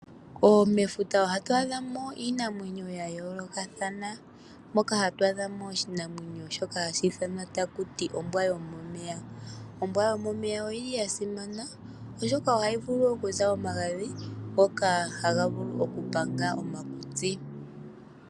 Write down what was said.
Mefuta ohatu adhamo iinamwenyo yayoolokathana moka hatu adha mo oshinamwenyo shoka hashi ithanwa takuti ombwa yomomeya. Ombwa yomomeya oyili yasimana oshoka ohayi vulu okuza omagadhi ngoka haga vulu okupanga omakutsi.